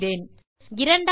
இப்போது என்ன செய்யப்போகிறேன்